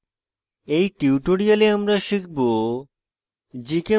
in tutorial আমরা শিখব: